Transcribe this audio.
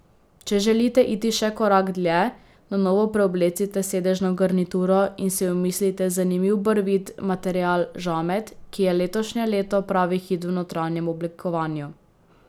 Če želite iti še korak dlje, na novo preoblecite sedežno garnituro in si omislite zanimiv barvit material žamet, ki je letošnje leto pravi hit v notranjem oblikovanju.